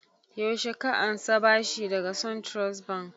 Yaushe ka ansa bashi daga suntrust bank?